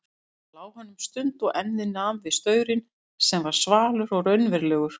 Svo lá hann um stund og ennið nam við strauminn sem var svalur og raunverulegur.